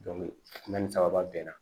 ni sababa bɛnna